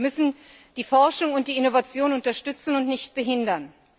Wir müssen die Forschung und die Innovation unterstützen und nicht behindern.